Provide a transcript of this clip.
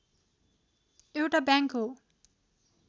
एउटा ब्याङ्क हो